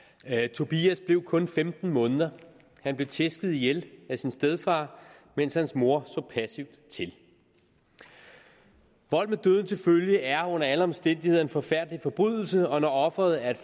tobias blev kun femten måneder han blev tæsket ihjel af sin stedfar mens hans mor så passivt til vold med døden til følge er under alle omstændigheder en forfærdelig forbrydelse og når offeret er